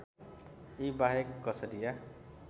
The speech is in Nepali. यी बाहेक कछडिया